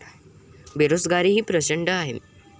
बेरोजगारीही प्रचंड आहे.